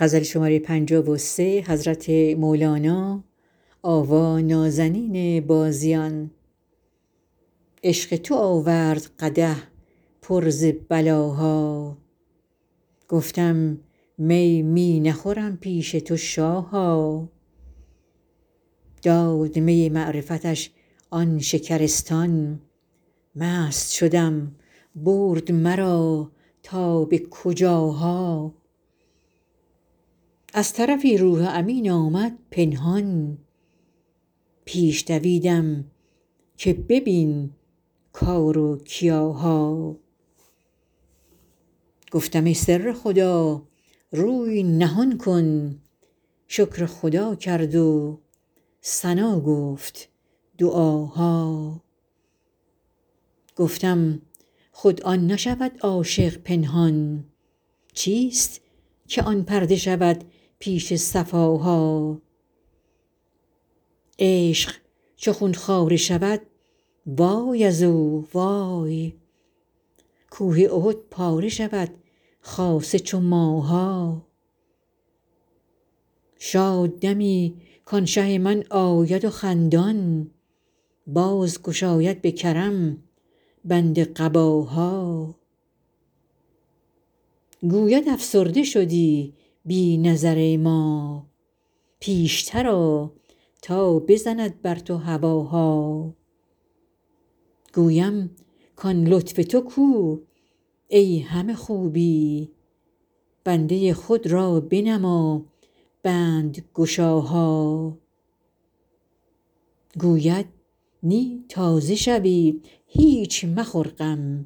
عشق تو آورد قدح پر ز بلاها گفتم می می نخورم پیش تو شاها داد می معرفتش آن شکرستان مست شدم برد مرا تا به کجاها از طرفی روح امین آمد پنهان پیش دویدم که ببین کار و کیاها گفتم ای سر خدا روی نهان کن شکر خدا کرد و ثنا گفت دعاها گفتم خود آن نشود عاشق پنهان چیست که آن پرده شود پیش صفاها عشق چو خون خواره شود وای از او وای کوه احد پاره شود خاصه چو ماها شاد دمی کان شه من آید خندان باز گشاید به کرم بند قباها گوید افسرده شدی بی نظر ما پیشتر آ تا بزند بر تو هواها گویم کان لطف تو کو ای همه خوبی بنده خود را بنما بندگشاها گوید نی تازه شوی هیچ مخور غم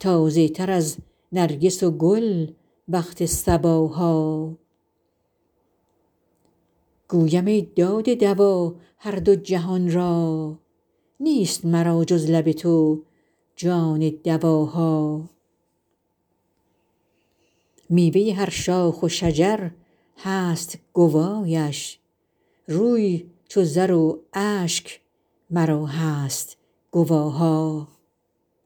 تازه تر از نرگس و گل وقت صباها گویم ای داده دوا هر دو جهان را نیست مرا جز لب تو جان دواها میوه هر شاخ و شجر هست گوایش روی چو زر و اشک مرا هست گواها